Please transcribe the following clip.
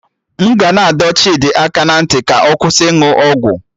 M ga na-adọ Chidi aka ná ntị ka ọ kwụsị ịnụ ọgwụ